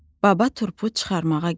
Baba turpu çıxarmağa gəldi.